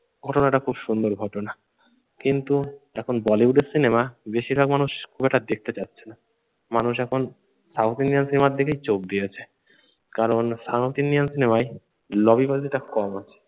ঘটনাটা খুব সুন্দর ঘটনা। কিন্তু এখন বলিউড এর সিনেমা বেশিরভাগ মানুষ খুব একটা দেখতে চাচ্ছে না। মানুষ এখন সাউথ ইন্ডিয়ান সিনেমার দিকেই চোখ দিয়েছে। কারণ সাউথ ইন্ডিয়ান সিনেমায় লবিবাজিটা কম আছে।